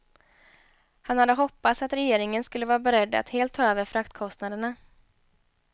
Han hade hoppats att regeringen skulle vara beredd att helt ta över fraktkostnaderna.